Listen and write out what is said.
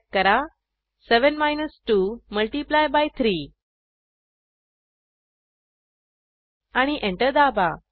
type करा 7 minus 2 multiply by 3 आणि enter दाबा